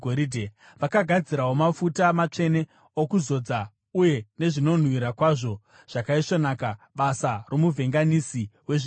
Vakagadzirawo mafuta matsvene okuzodza uye nezvinonhuhwira kwazvo zvakaisvonaka, basa romuvhenganisi wezvinonhuhwira.